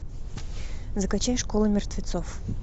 закачай школа мертвецов